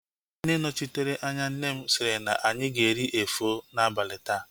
Nne nnọchiteanya nne m sịrị na anyị ga-eri efọ n'abalị taa